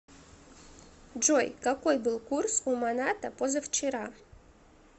джой какой был курс у маната позавчера